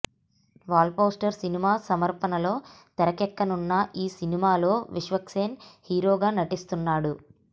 wall poster cinema సమర్పణలో తెరకెక్కనున్న ఈ సినిమాలో విశ్వక్ సేన్ హీరోగా నటిస్తున్నాడు